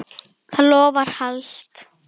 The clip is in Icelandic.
Það loforð halt.